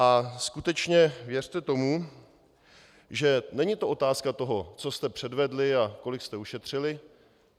A skutečně věřte tomu, že to není otázka toho, co jste předvedli a kolik jste ušetřili.